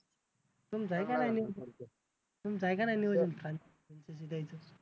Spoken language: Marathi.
तुमचं आहे का नाही